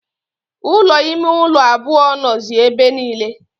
Ụlọ ime ụlọ abụọ nọzi ebe niile.